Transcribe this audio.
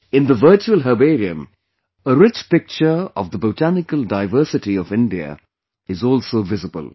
In the Virtual Herbarium, a rich picture of the Botanical Diversity of India is also visible